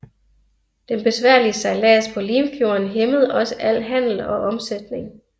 Den besværlige sejlads på Limfjorden hæmmede også al handel og omsætning